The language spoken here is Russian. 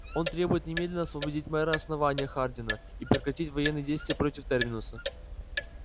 он требует немедленно освободить мэра основания хардина и прекратить военные действия против терминуса